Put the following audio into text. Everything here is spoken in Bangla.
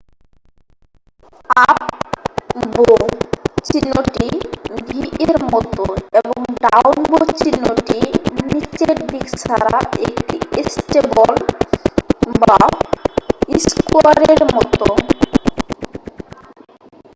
"""আপ বো" চিহ্নটি v এর মতো এবং "ডাউন বো চিহ্নটি" নীচের দিক ছাড়া একটি স্টেপল বা স্কোয়ারের মতো।